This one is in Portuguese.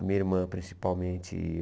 A minha irmã, principalmente.